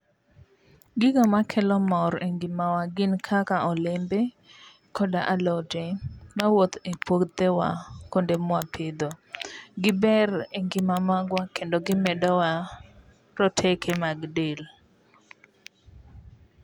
Gigo makelo mor engimawa gin kaka olembe koda alote mawuok e puothewa kuonde ma wapidhe. Giber e ngimawa kendo gimedowa roteke mag del.